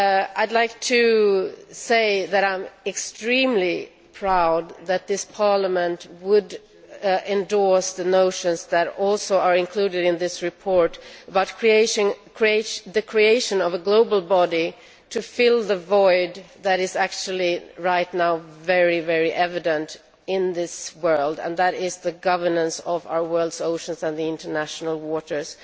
I am extremely proud that this Parliament would endorse the notions that also are included in this report the creation of a global body to fill the void that is actually right now very, very evident in this world and that is the governance of our world's oceans and the international waters,